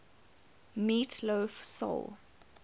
meat loaf soul